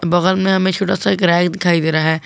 बगल में हमें छोटा सा रैक दिखाई दे रहा है।